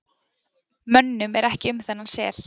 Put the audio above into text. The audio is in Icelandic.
Mönnum er ekki um þennan sel.